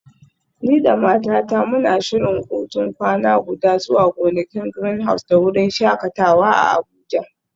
Ni da matata muna shirin hutun kwana guda zuwa gonakin Greenhouse da wurin shakatawa a Abuja.